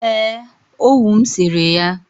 ee, owu m sere ya